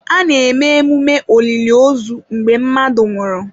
A na-eme emume oliliozu mgbe mmadụ nwụrụ.